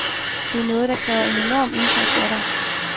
Det er noget, der kræver en enorm indsats af dig.